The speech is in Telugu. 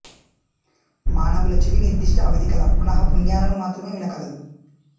మానవుల చెవి నిర్ధిష్ట అవథి కల పొనఃపున్యాలను మాత్రమే వినకలదు